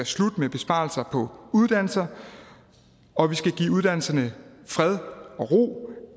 slut med besparelser på uddannelser og vi skal give uddannelserne fred og ro